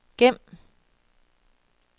gem